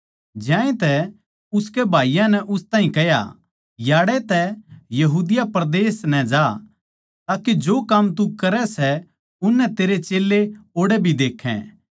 ज्यांतै उसके भाईयाँ नै उस ताहीं कह्या याड़ै तै यहूदिया परदेस नै जा ताके जो काम तू करै सै उननै तेरे चेल्लें ओड़ै भी देक्खै